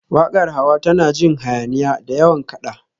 Waƙar Hawa tana jin hayaniya, da yawan kaɗa